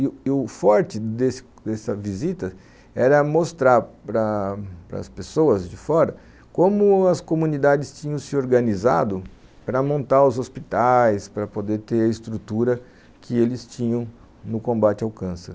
E e o forte dessa visita era mostrar para as pessoas de fora como as comunidades tinham se organizado para montar os hospitais, para poder ter a estrutura que eles tinham no combate ao câncer.